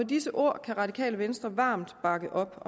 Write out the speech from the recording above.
disse ord kan radikale venstre varmt bakke